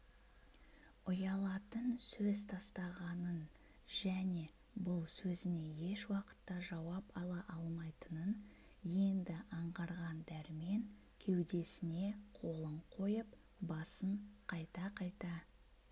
ұялатын сөз тастағынын және бұл сөзіне еш уақытта жауап ала алмайтынын енді аңғарған дәрмен кеудесіне қолын қойып басын қайта-қайта